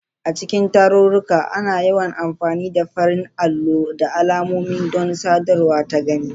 A cikin tarurruka, ana yawan amfani da farar allo da alamomi don sadarwa ta gani.